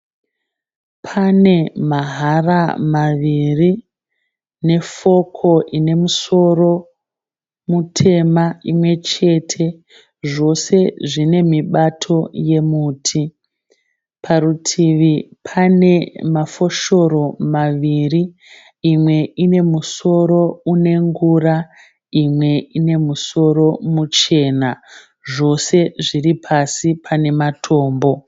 Pane mahara maviri nefoko ine musoro mutema imwechete. Zvose zvine mibato yemuti. Parutivi pane mafoshoro maviri. Imwe ine musoro une ngura. Imwe ine musoro muchena. Zvose zviri pasi pane matombo.